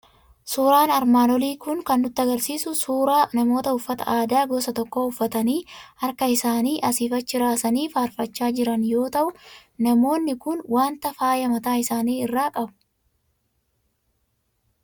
Suuraan armaan olii kan inni nutti argisiisu suuraa namoota uffata aadaa gosa tokko uffatanii, harka isaanii asiif achi raasanii faarfaachaa jiran yoo ta'u, namoonni kun waanta faayaa mataa isaanii irraa qabu.